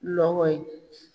Mɔgɔ ye